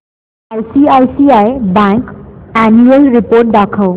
ICICI bank annual report दाखव